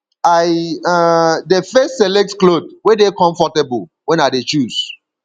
i um dey first select clothe wey dey comfortable wen i dey choose